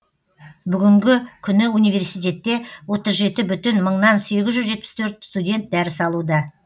бүгінгі күні университетте отыз жеті бүтін мыңнан сегіз жүз жетпіс төрт студент дәріс алуда